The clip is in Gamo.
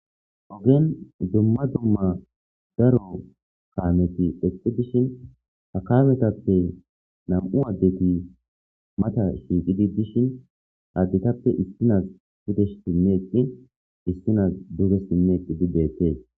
ogen dumma dumma daro kaameti eqqi dishin ha kametappe nam7u addeti mata shiiqidi dishin additappe issinas hudesh tinneeqqi issinas duzesinneeqqi di deettee